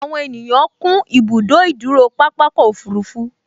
Àwọn ènìyàn kún ibùdó ìdúró pápákọ̀ òfurufú